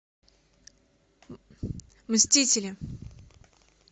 мстители